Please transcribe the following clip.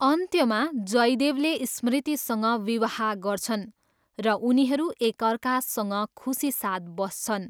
अन्त्यमा, जयदेवले स्मृतिसँग विवाह गर्छन् र उनीहरू एकअर्कासँग खुसीसाथ बस्छन्।